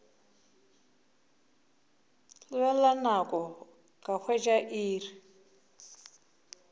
lebelela nako ka hwetša iri